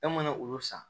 E mana olu san